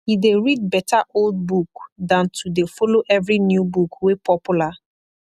e dey read beta old book dan to dey follow evry new book wey popular